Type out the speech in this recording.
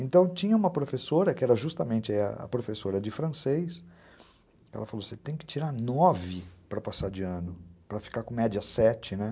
Então, tinha uma professora, que era justamente a professora de francês, ela falou, você tem que tirar nove para passar de ano, para ficar com média sete, né?